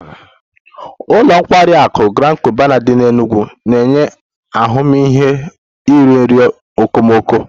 Ụlọ nkwari akụ Grand Cubana dị n'Enugwu na-enye ahụmịhe iri nri okomoko